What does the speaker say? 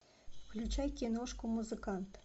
включай киношку музыкант